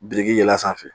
Biriki yɛlɛ sanfɛ